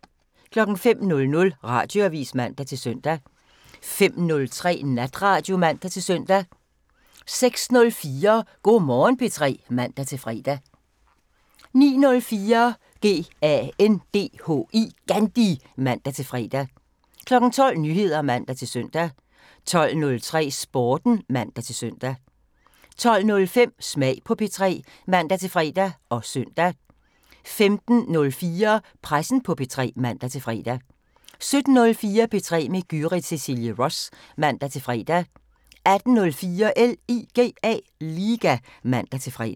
05:00: Radioavisen (man-søn) 05:03: Natradio (man-søn) 06:04: Go' Morgen P3 (man-fre) 09:04: GANDHI (man-fre) 12:00: Nyheder (man-søn) 12:03: Sporten (man-søn) 12:05: Smag på P3 (man-fre og søn) 15:04: Pressen på P3 (man-fre) 17:04: P3 med Gyrith Cecilie Ross (man-fre) 18:04: LIGA (man-fre)